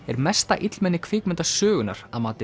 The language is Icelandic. er mesta illmenni kvikmyndasögunnar að mati